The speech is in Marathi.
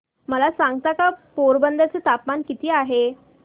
मला सांगता का पोरबंदर चे तापमान किती आहे